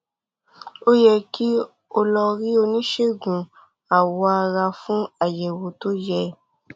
ó yẹ kí um o lọ rí oníṣègùn awọ ara fún àyẹwò tó yẹ